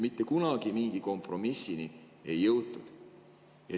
Mitte kunagi mingi kompromissini ei jõutud.